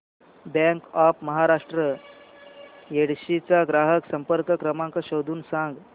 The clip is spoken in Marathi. बँक ऑफ महाराष्ट्र येडशी चा ग्राहक संपर्क क्रमांक शोधून सांग